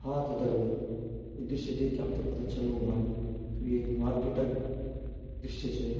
हाँ त दगड़ो यु दृश्य दिखिके आप थे पता चलनु ह्वालू यु एक मार्किट क दृश्य च।